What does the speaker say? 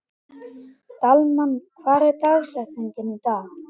Dalmann, hver er dagsetningin í dag?